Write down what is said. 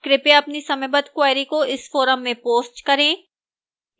कृपया अपनी समयबद्ध queries को इस forum में post करें